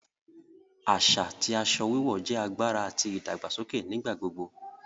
Aṣa ti aṣọ wíwọ̀ jẹ agbára àti ìdàgbàsọkè nigbagbogbo